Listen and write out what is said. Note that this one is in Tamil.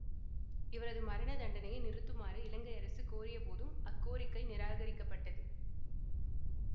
இவரது மரண தண்டனையை நிறுத்துமாறு இலங்கை அரசு கோரியபோதும் அக்கோரிக்கை நிராகரிக்கப்பட்டது